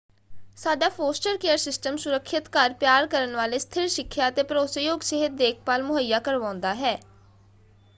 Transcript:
ਸਾਡਾ foster care system ਸੁਰੱਖਿਅਤ ਘਰ ਪਿਆਰ ਕਰਨ ਵਾਲੇ ਸਥਿਰ ਸਿੱਖਿਆ ਅਤੇ ਭਰੋਸੇਯੋਗ ਸਿਹਤ ਦੇਖਭਾਲ ਮੁਹੱਈਆ ਕਰਵਾਉਂਦਾ ਹੈ।